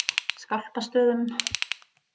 Skálpastöðum